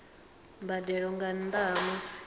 mbadelo nga nnda ha musi